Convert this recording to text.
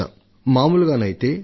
ల ముఖ్యమంత్రులతో సంభాషించాను